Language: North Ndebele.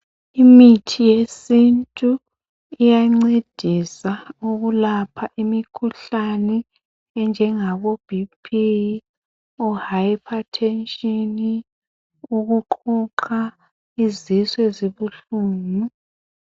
Imithi yesintu iyancedisa ukulapha imikhuhlane enjengabo bpi ohiphathetshini ukuqhuqha izisu ezibuhlungu